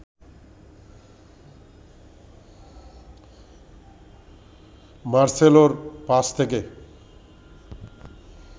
মার্সেলোর pass থেকে